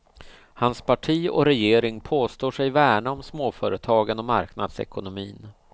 Hans parti och regering påstår sig värna om småföretagen och marknadsekonomin.